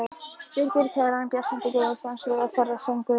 Birgir Kjaran, Bjartmar Guðmundsson, Friðjón Þórðarson, Guðlaugur